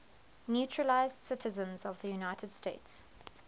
naturalized citizens of the united states